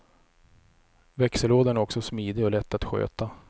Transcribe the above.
Växellådan är också smidig och lätt att sköta.